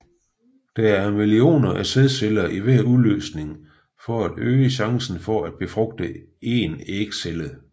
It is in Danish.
Der er millioner af sædceller i hver udløsning for at øge chancen for at befrugte en ægcelle